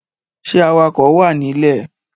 Ṣẹ́ awakọ wà ní ilẹ̀?